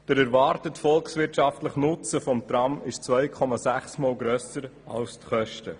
Der erwartete volkswirtschaftliche Nutzen des Trams ist 2,6-mal grösser als die Kosten.